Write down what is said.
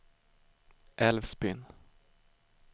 Älvsbyn